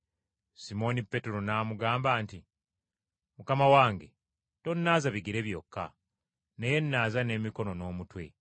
Simooni Peetero n’amugamba nti, “Mukama wange, tonnaaza bigere byokka, naye nnaaza n’emikono n’omutwe.”